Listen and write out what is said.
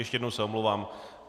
Ještě jednou se omlouvám.